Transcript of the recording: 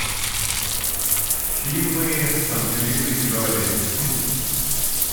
фильмы с анджелиной джоли